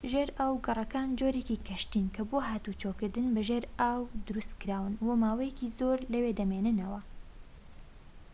ژێرئاوگەڕەکان جۆرێکی کەشتین کە بۆ هاتووچۆکردن بە ژێر ئاو دروستکراون و ماوەیەکی زۆر لەوێ دەمێننەوە